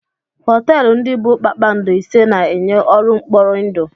Họtelụ ndị bụ kpakpando ise na-enye ọrụ mkpọrindụ.